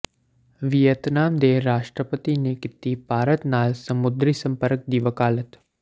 Vietnam ਦੇ ਰਾਸ਼ਟਰਪਤੀ ਨੇ ਕੀਤੀ ਭਾਰਤ ਨਾਲ ਸਮੁੰਦਰੀ ਸੰਪਰਕ ਦੀ ਵਕਾਲਤ